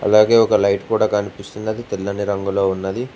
అలాగే ఒక లైట్ కూడా కనిపిస్తుంది అది తెల్లని రంగులో ఉన్నది.